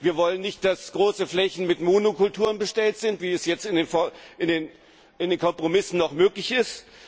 Wir wollen nicht, dass große Flächen mit Monokulturen bestellt sind, wie es jetzt in den Kompromissen noch möglich ist.